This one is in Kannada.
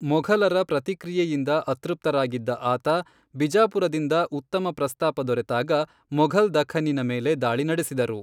ಮೊಘಲರ ಪ್ರತಿಕ್ರಿಯೆಯಿಂದ ಅತೃಪ್ತರಾಗಿದ್ದ ಆತ, ಬಿಜಾಪುರದಿಂದ ಉತ್ತಮ ಪ್ರಸ್ತಾಪ ದೊರೆತಾಗ ಮೊಘಲ್ ದಖ್ಖನ್ನಿನ ಮೇಲೆ ದಾಳಿ ನಡೆಸಿದರು.